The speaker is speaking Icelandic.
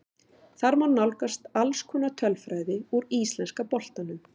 Þar má nálgast alls konar tölfræði úr íslenska boltanum.